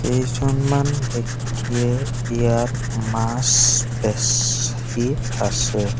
কেইঝনমান ব্যক্তিয়ে ইয়াত মাছ বেছি আছে।